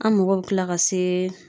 An mago bɛ tila ka se.